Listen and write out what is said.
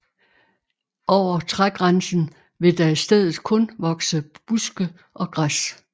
Over trægrænsen vil der i stedet kun vokse buske og græs